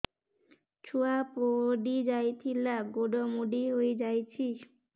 ଛୁଆ ପଡିଯାଇଥିଲା ଗୋଡ ମୋଡ଼ି ହୋଇଯାଇଛି